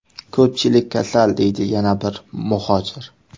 Ko‘pchilik kasal”, deydi yana bir muhojir.